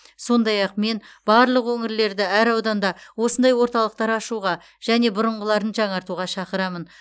сондай ақ мен барлық өңірлерді әр ауданда осындай орталықтар ашуға және бұрынғыларын жаңартуға шақырамын